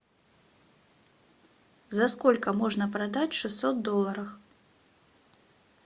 за сколько можно продать шестьсот долларов